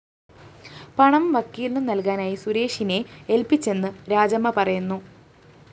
പണം വക്കീലിനു നല്‍കാനായി സുരേഷിനെ എല്‍പ്പിച്ചെന്ന് രാജമ്മ പറയുന്നു